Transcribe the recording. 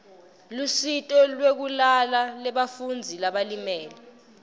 lusito lwekulala lebafundzi labalimele